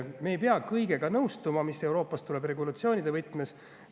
Me ei pea nõustuma kõigega, mis Euroopast tuleb regulatsioonide võtmes.